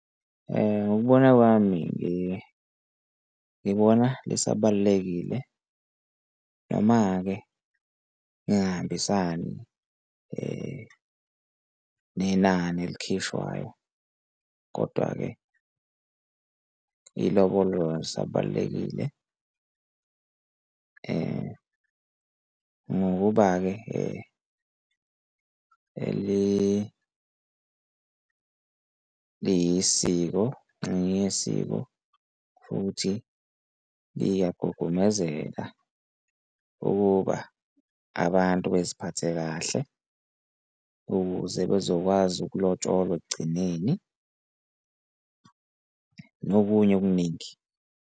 Ngokubona kwami ngibona lisabalulekile, noma-ke lingahambisani nenani elikhishwayo, kodwa-ke ilobolo alisabalulekile ngokuba-ke eliyisiko ngesiko, futhi liyagugamezeka ukuba abantu beziphathe kahle ukuze bezokwazi, ukulotsholwa ekugcineni nokunye okuningi.